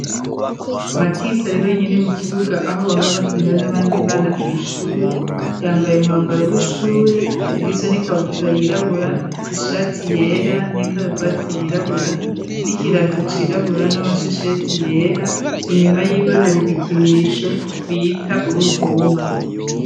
Matisi ari wenyine mu kibuga aho bahora bakinira n'abandi bana kw ishure .Yambaye umwambaro w'ishure ugizwe n'ikabutura yirabura ishati yera n'ikaravati yirabura n'ikirato cirabura n'amashesheti yera inyuma y'iwe hari ibikinisho bita uruvuma.